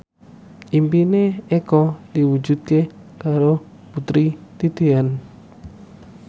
impine Eko diwujudke karo Putri Titian